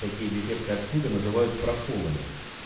такие дефекты оксида называют проколами